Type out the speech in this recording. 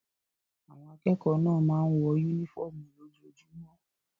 Àwọn akẹ́kọ̀ọ́ náà máa ń wọ únífọ́ọ́mù lójoojúmọ́.